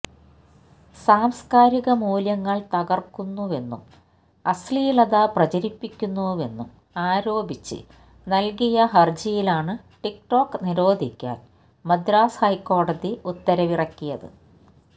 സംസ്കാരിക മൂല്യങ്ങള് തകര്ക്കുന്നുവെന്നും അശ്ലീലത പ്രചരിപ്പിക്കുന്നുവെന്നും ആരോപിച്ച് നല്കിയ ഹര്ജിയിലാണ് ടിക് ടോക് നിരോധിക്കാൻ മദ്രാസ് ഹൈക്കോടതി ഉത്തരിവിറക്കിയത്